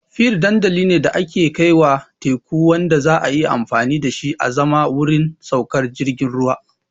Pier dandali ne da ke kaiwa teku wanda za a iya amfani da shi azaman wurin saukar jiragen ruwa.